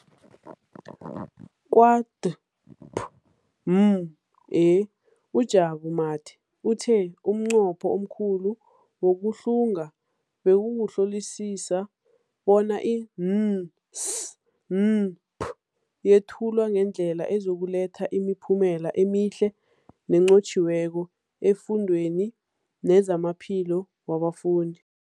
Kwa-DPME, uJabu Mathe, uthe umnqopho omkhulu wokuhlunga bekukuhlolisisa bona i-NSNP yethulwa ngendlela ezokuletha imiphumela emihle nenqotjhiweko efundweni nezamaphilo wabafundi.